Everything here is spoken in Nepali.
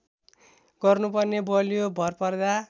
गर्नुपर्ने बलियो भरपर्दा